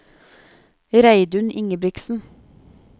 Reidun Ingebrigtsen